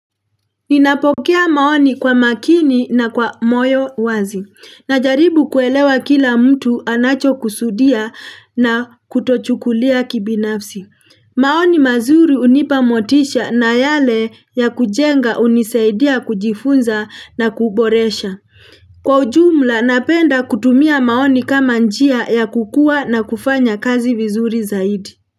Ninapokea maoni kwa makini na kwa moyo wazi. Najaribu kuelewa kila mtu anacho kusudia na kutochukulia kibinafsi. Maoni mazuri unipamotisha na yale ya kujenga uniseidia kujifunza na kuboresha. Kwa ujumla napenda kutumia maoni kama njia ya kukua na kufanya kazi vizuri zaidi.